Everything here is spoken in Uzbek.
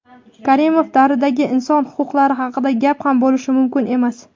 Karimov davridagi inson huquqlari haqida gap ham bo‘lishi mumkin emas.